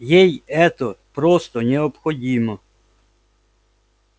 ей это просто необходимо